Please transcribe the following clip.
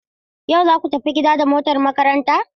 Yau zaku tafi gida da motar makaranta?